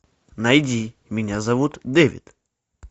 найди меня зовут дэвид